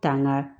Taa ŋa